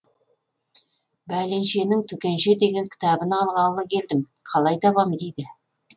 бәленшенің түгенше деген кітабын алғалы келдім қалай табам дейді